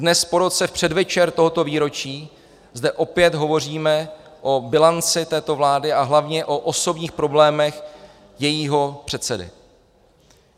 Dnes, po roce, v předvečer tohoto výročí zde opět hovoříme o bilanci této vlády a hlavně o osobních problémech jejího předsedy.